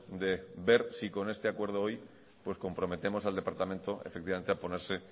de ver si con este acuerdo hoy comprometemos al departamento efectivamente a ponerse